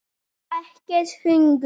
Ekkert hungur.